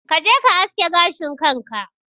Kaje ka aske gashin kanka